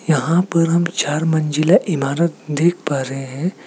यहां पर हम चार मंजिला इमारत देख पा रहे हैं।